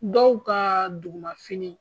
Dɔw ka dugumafini